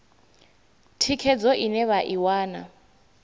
thikhedzo ine vha i wana